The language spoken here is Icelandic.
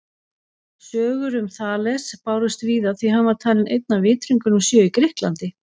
Sögur um Þales bárust víða því hann var talinn einn af vitringunum sjö í Grikklandi.